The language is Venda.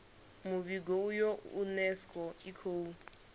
muvhigo uyu unesco i khou